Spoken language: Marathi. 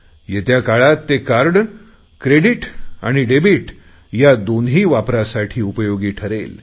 येत्या काळात ते कार्ड क्रेडिट आणि डेबिट या दोन्ही वापरांसाठी उपयोगी ठरेल